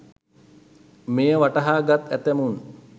මෙය වටහා ගත් ඇතැමුන්